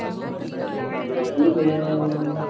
ବସିଚେ